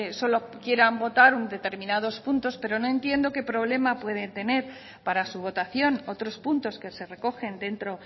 solo quieran votar en determinados puntos pero no entiendo qué problema pueden tener para su votación otros puntos que se recogen dentro